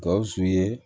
Gawusu ye